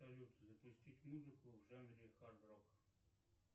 салют запустить музыку в жанре хард рок